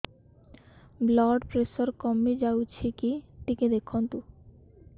blood pressure କମି ଯାଉଛି କି ଟିକେ ଦେଖନ୍ତୁ